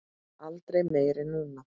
Aldrei meira en núna.